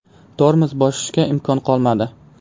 Tormoz bosishga imkonim qolmadi.